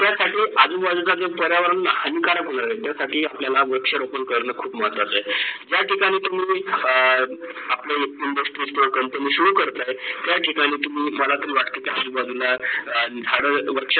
ज्या ठिकाणी अं आपले industry स्ट्रोल control करता आहेत, त्या ठिकाणी तुम्ही माला तर वाटते की आजूबाजूला झाडें - वृक्षा